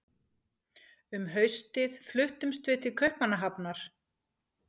Um haustið fluttumst við til Kaupmannahafnar.